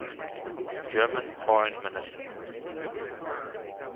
german foreign minister